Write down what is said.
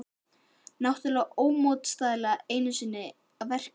Náttúran ómótstæðilega enn einu sinni að verki.